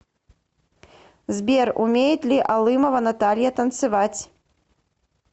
сбер умеет ли алымова наталья танцевать